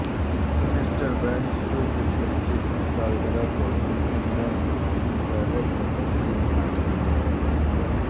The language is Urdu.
مسٹر بین شو کی پچیسویں سالگرہ کو بکھنگم پیلس میں تقریب کے ساتھ منایا گیا